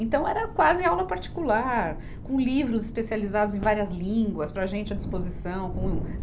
Então, era quase aula particular, com livros especializados em várias línguas para a gente à disposição. com